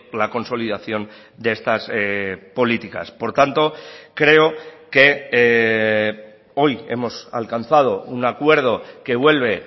la consolidación de estas políticas por tanto creo que hoy hemos alcanzado un acuerdo que vuelve